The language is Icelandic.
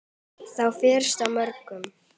Þá fyrstu af mörgum.